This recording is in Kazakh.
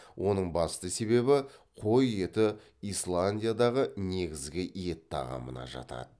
оның басты себебі қой еті исландиядағы негізгі ет тағамына жатады